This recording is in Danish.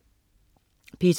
P2: